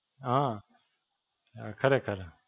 હાં, ખરેખર.